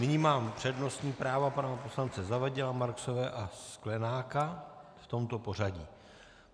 Nyní mám přednostní práva pana poslance Zavadila, Marksové a Sklenáka v tomto pořadí.